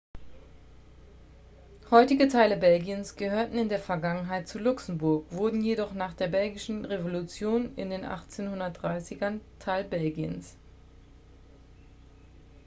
heutige teile belgiens gehörten in der vergangenheit zu luxemburg wurden jedoch nach der belgischen revolution in den 1830ern teil belgiens